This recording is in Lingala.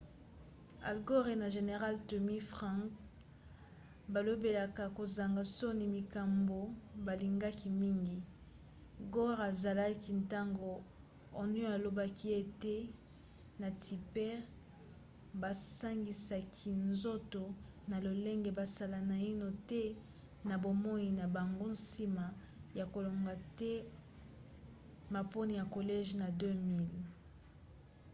al gore na général tommy franks balobelaka kozanga soni makambo balingaka mingi gore azalaki ntango onion alobaki ete ye na tipper basangisaki nzoto na lolenge basala naino te na bomoi na bango nsima ya kolonga te maponi ya collège na 2000